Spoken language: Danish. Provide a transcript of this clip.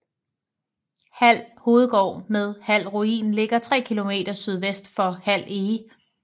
Hald Hovedgård med Hald Ruin ligger 3 km sydvest for Hald Ege